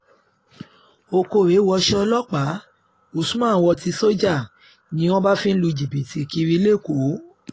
òkórè wọṣọ ọlọ́pàá usman wọ̀ tí sójà ni wọ́n bá fi ń lu jìbìtì kiri èkó